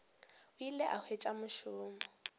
o ile a hwetša mošomo